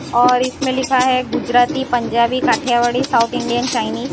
और इसमें लिखा है Gujarati Punjabi Kathiawadi south Indian Chinese --